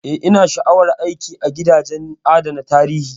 Eh,, ina sha'awar aiki a gidajen adana tarihi.